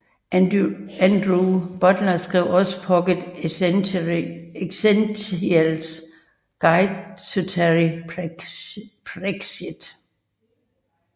Andrew Butler skrev også Pocket Essentials Guide to Terry Pratchett